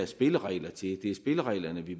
spilleregler til det er spillereglerne vi